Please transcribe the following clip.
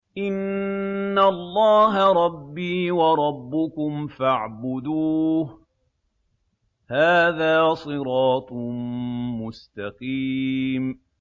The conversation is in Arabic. إِنَّ اللَّهَ رَبِّي وَرَبُّكُمْ فَاعْبُدُوهُ ۗ هَٰذَا صِرَاطٌ مُّسْتَقِيمٌ